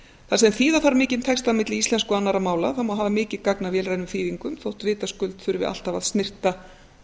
þar sem þýða þarf mikinn texta á milli íslensku og annarra mála má hafa mikið gagn af vélrænum þýðingum þótt vitaskuld þurfi alltaf að snyrta